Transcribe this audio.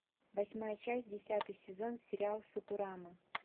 восьмая часть десятый сезон сериал футурама